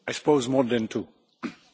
Das ist nicht die Frage.